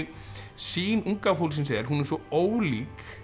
sýn unga fólksins er hún er svo ólík